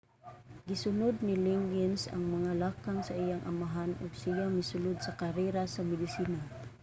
gisunud ni liggins ang mga lakang sa iyang amahan ug siya misulod sa karera sa medisina